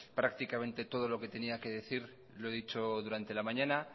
prácticamente todo lo que tenía que decir lo he dicho durante la mañana